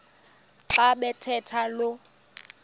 xa bathetha lo